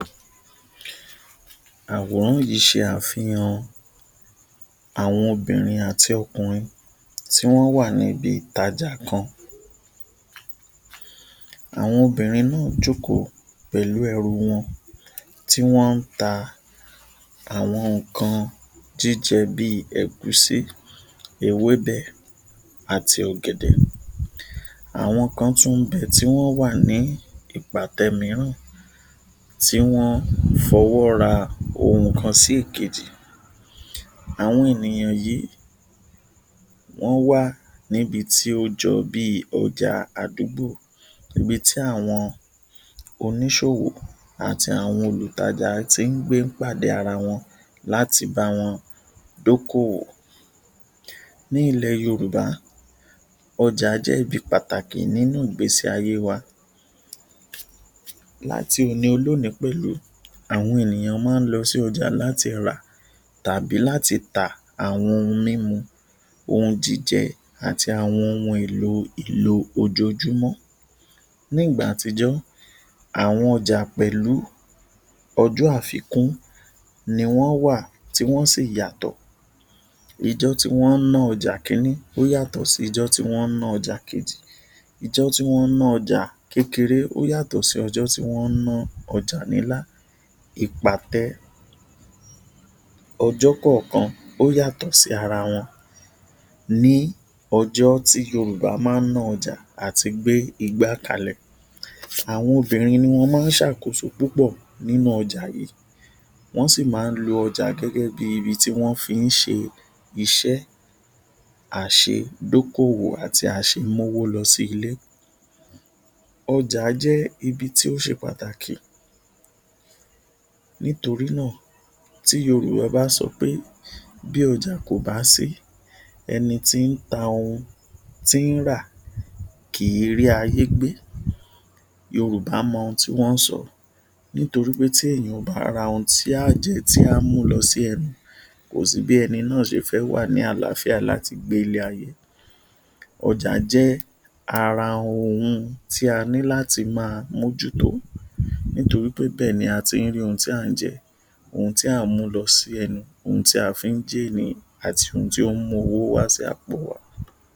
Àwòrán yìí ṣe àfihàn àwọn obìnrin àti ọkùnrin tí wọn wà níbi ìtajà kan. Àwọn obìnrin náà jókòó pẹ̀lú ẹ̀rú wọn. Tí wọ́n ń tà àwọn nǹkan jíjẹ bí ẹ̀gúsí, ewébẹ̀ àti ọ̀gẹ̀dẹ̀. Àwọn kan tún bẹ tí wọn wà ní ìpàtẹ mìíràn tí wọn fọwọ́ ra ohun kan sí ìkejì. Àwọn ènìyàn yìí, wọ́n wà níbi tí ó jọ bí ọjà àdúgbò, ibi tí àwọn oníṣòwò àti àwọn olùtajà tí ń gbé pàdé ara wọn láti bá wọn dókòwò. Ní ilẹ̀ Yorùbá, ọjà jẹ́ ibi pàtàkì nínú ìgbésí ayé wa. Láti òní olónìí pẹ̀lú, àwọn ènìyàn máa lọ sí ọjà láti rà tàbí láti ta àwọn ohun mímú, ohun jíjẹ àti àwọn ohun èlò ìlò ojoojúmọ́. Ní ìgbà àtijọ́, àwọn ọjà pẹ̀lú ọjọ́ àfikún ni wọn wà tí wọn sì yàtọ̀. Ọjọ́ tí wọn ń ná ọjà kínní yàtọ̀ sí ọjọ́ wọn ń ná ọjà kejì, ọjọ́ tí wọn ń ná ọjà kékeré ó yàtọ̀ sí ọjọ́ tí wọn ń ná ọjà ńlá. Ìpàtẹ ọjọ́ kankan ó yàtọ̀ sí ara wọn. Ní ọjọ́ tí Yorùbá máa ná ọjà àti gbé igbá kalẹ̀, àwọn obìnrin ni wọn máa ṣàkóso púpọ̀ nínú ọjà yìí. Wọn sì máa ń lò ọjà gẹ́gẹ́ bí ibi tí wọ́n fi ṣe iṣẹ́ àṣẹ dókòwò àti àṣẹ mú owó lọ sí ilé. Ọjà jẹ́ ibi tí ó ṣe pàtàkì nítorí náà tí Yorùbá bá sọ pé ‘Bí ọjà kò bá sí, ẹni tí ta ohun, tí ra kì í rí ayé gbé’. Yorùbá mọ ohun tí wọn sọ nítorí pé tí ènìyàn bá ra ohun tí a ń jẹ, tí a mú lọ sí ẹnu kò sí bí ẹni náà ṣe fẹ́ wà ní àlàáfíà láti gbé ilé ayé. Ọjà jẹ́ ara ohun tí a ní láti máa mójú tó nítorí pé ibẹ̀ ni a ti rí ohun tí a ń jẹ, ohun tí a mú lọ sí ẹnu, ohun tí a fi jẹ́ ènìyàn àti ohun tí ó mú owó wá sí àpò wa.